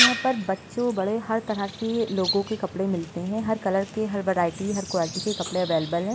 यहाँ पर बच्चो बड़े हर तरह के लोगों के कपड़े मिलते हैं। हर कलर हर वैराईटी हर क्वालिटी के कपड़े अवैलेबल हैं।